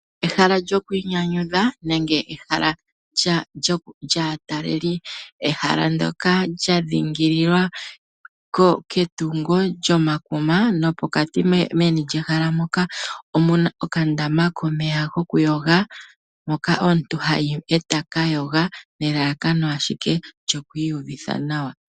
Ehala lyokwi nyanyudha nenge ehala lyaataleli ehala ndyoka lya dhingililwa ketungo lyomakuma nopokati meni lyehala moka omuna okandama komeya goku yoga moka omuntu hayi etaka yoga nelalakano ashike lyokwi yuvitha nawa.